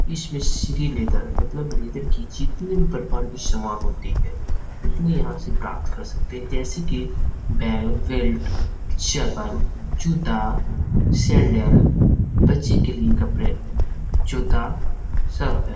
इसमें श्री लेदर मतलब लेदर की जितने भी प्रकार की समान होते हैं उतनी यहाँ से प्राप्त कर सकते हैं जैसे की बैग बेल्ट चप्पल जूता सैंडल बच्चे के लिए कपड़े जूता सब है।